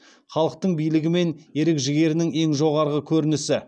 халықтың билігі мен ерік жігерінің ең жоғары көрінісі